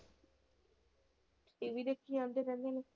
TV ਦੇਖੀ ਜਾਂਦੇ ਰਹਿੰਦੇ ਨੇ।